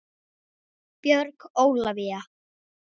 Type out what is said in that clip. Björg Ólavía.